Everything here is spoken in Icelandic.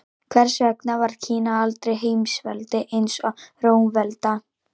Hvers vegna varð Kína aldrei heimsveldi eins og Rómaveldi?